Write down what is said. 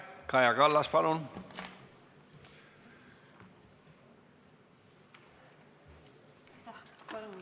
Kaja Kallas, palun!